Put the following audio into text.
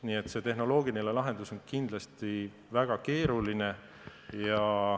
Nii et see tehnoloogiline lahendus on kindlasti väga keeruline.